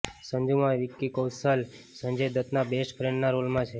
સંજૂમાં વિક્કી કૌશલ સંજય દત્તના બેસ્ટ ફ્રેન્ડના રોલમાં છે